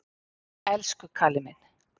Elsku Kalli minn!